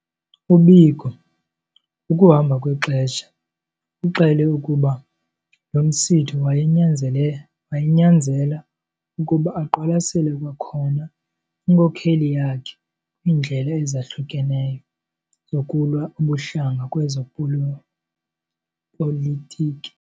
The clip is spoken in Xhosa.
U-Biko ngokuhamba kwexesha uxele ukuba lo msitho wayenyanzela ukuba aqwalasele kwakhona inkokheli yakhe kwiindlela ezahlukeneyo zokulwa ubuhlanga kwezopolitiki.